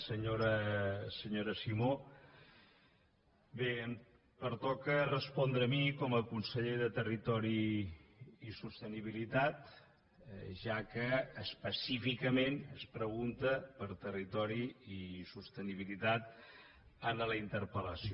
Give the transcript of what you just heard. senyora simó bé em pertoca respondre a mi com a conseller de territori i sostenibilitat ja que específicament es pregunta per territori i sostenibilitat en la interpel·lació